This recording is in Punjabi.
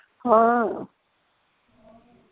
ਹਾਂ